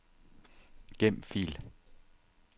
Gem fil.